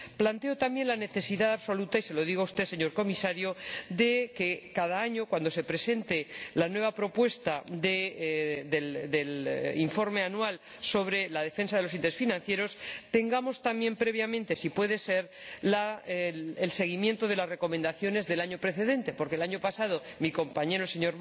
Planteo también la necesidad absoluta —y se lo digo a usted, señor Comisario— de que cada año, cuando se presente la nueva propuesta de informe anual sobre la protección de los intereses financieros, tengamos también previamente, si puede ser, el seguimiento de las recomendaciones del año precedente, porque el año pasado mi compañero, el Sr.